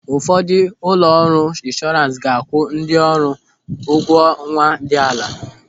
Ụfọdụ ụlọ ọrụ inshọrans ga-akwụ ndị ọrụ ụgwọ ọnwa dị ala.